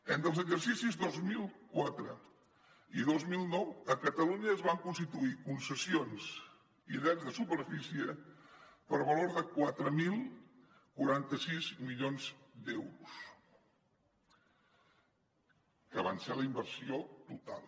entre els exercicis dos mil quatre i dos mil nou a catalunya es van constituir concessions i drets de superfície per valor de quatre mil quaranta sis milions d’euros que van ser la inversió total